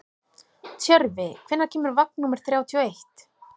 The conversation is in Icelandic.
Tjörfi, hvenær kemur vagn númer þrjátíu og eitt?